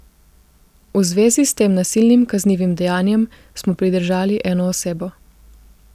V zvezi s tem nasilnim kaznivim dejanjem smo pridržali eno osebo.